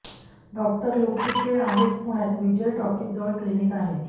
doctor Luktuke आहेत पुण्यात Vijay talkies जवळ क्लिनिक आहे